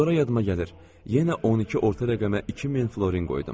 Sonra yadıma gəlir, yenə 12 orta rəqəmə 2000 florin qoydum.